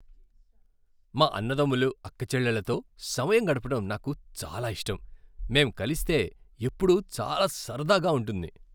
మా అన్నదమ్ములు, అక్కచెల్లెళ్ళతో సమయం గడపడం నాకు చాలా ఇష్టం. మేం కలిస్తే ఎప్పుడూ చాలా సరదాగా ఉంటుంది.